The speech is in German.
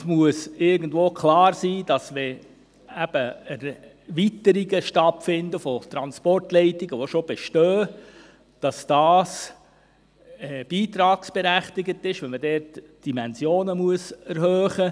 Es muss klar sein, dass Erweiterungen von bestehenden Transportleitungen beitragsberechtigt sind, wenn die Dimensionen erhöht werden müssen.